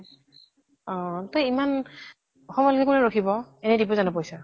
অ তʼ ইমান সময় লৈ কোনে ৰখিব ? এনেই দিব জানো পইছা ?